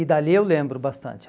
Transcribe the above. E dali eu lembro bastante.